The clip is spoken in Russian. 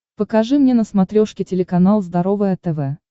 покажи мне на смотрешке телеканал здоровое тв